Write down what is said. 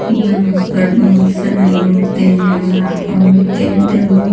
यहां पर बहुत सारी औरते हैं और औरते तब--